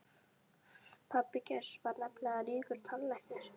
Pabbi Geirs var nefnilega ríkur tannlæknir.